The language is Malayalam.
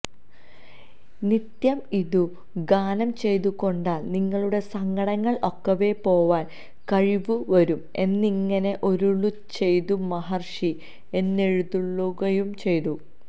നിത്യം ഇതു ഗാനം ചെയ്തുകൊണ്ടാൽ നിങ്ങളുടെ സങ്കടങ്ങൾ ഒക്കവെ പോവാൻ കഴിവു വരും എന്നിങ്ങിനെ അരുളിച്ചെയ്തു മഹർഷി എഴുന്നെള്ളുകയും ചെയ്തു